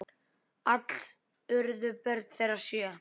Alls urðu börn þeirra sjö.